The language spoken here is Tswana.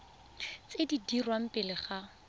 tse di dirwang pele ga